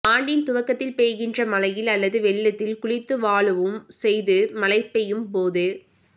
ஆண்டின் துவக்கத்தில் பெய்கின்ற மழையில் அல்லது வெள்ளத்தில் குளித்து வழூவும் செய்து மழை பெய்யும் போது